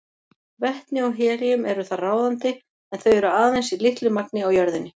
Vetni og helíum eru þar ráðandi en þau eru aðeins í litlu magni á jörðinni.